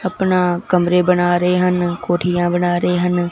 अपना कमरे बना रे ह न कोठीया बना रे ह न।